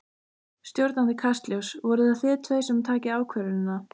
Stjórnandi Kastljóss: Voruð það þið tveir sem takið ákvörðunina?